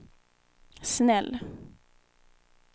snäll